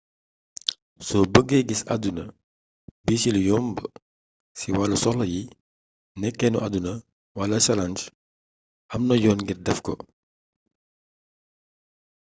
so bëge gis aduna bi si lu yomb ci walu soxla yi nekenu aduna wala challenge amna yoon ngir defko